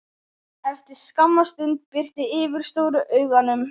Eftir skamma stund birti yfir stóru augunum.